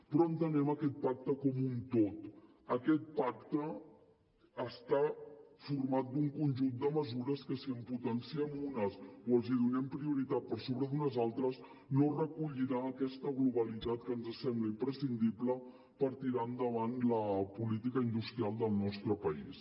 però entenem aquest pacte com un tot aquest pacte està format per un conjunt de mesures i si en potenciem unes o els donem prioritat per sobre d’unes altres no recollirà aquesta globalitat que ens sembla imprescindible per tirar endavant la política industrial del nostre país